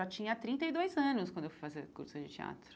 já tinha trinta e dois anos quando eu fui fazer curso de teatro.